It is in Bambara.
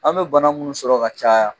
An be bana munnu sɔrɔ ka caya